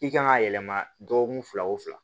I kan ka yɛlɛma dɔgɔkun fila o fila